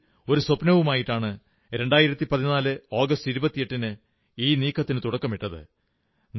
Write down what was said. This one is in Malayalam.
മനസ്സിൽ ഒരു സ്വപ്നവുമായിട്ടാണ് 2014 ആഗസ്റ്റ് 28 ന് ഈ നീക്കത്തിന് തുടക്കമിട്ടത്